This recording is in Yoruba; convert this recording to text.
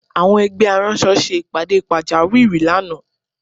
Àwọn ẹgbẹ́ aránṣọ ṣe ìpàdé pàjáwìrí lánàá